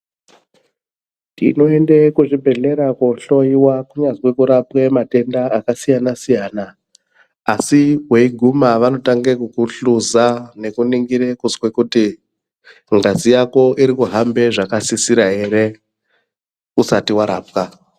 Tinoende kuzvibhedhlera kohloyiwa kunyazwi kurapwe matenda akasiyana siyana asi weiguma vanotanga kukuhluza nekuningirw kuzwe kuti ngazi yako irikuhambe zvakasisira ere usati warapwa.